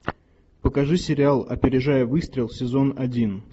покажи сериал опережая выстрел сезон один